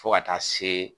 Fo ka taa se